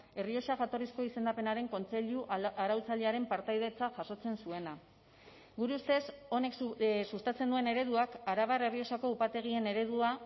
errioxa jatorrizko izendapenaren kontseilu arautzailearen partaidetza jasotzen zuena gure ustez honek sustatzen duen ereduak arabar errioxako upategien eredua